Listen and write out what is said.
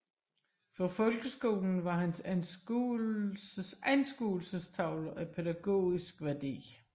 For folkeskolen var hans anskuelsestavler af pædagogisk værdi